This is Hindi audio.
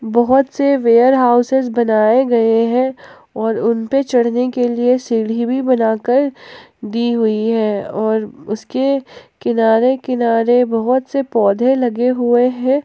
बहुत से वेयर हाउसेस बनाए गए हैं और उन पे चढ़ने के लिए सीढ़ी भी बनाकर दी हुई है और उसके किनारे- किनारे बहुत से पौधे लगे हुए हैं।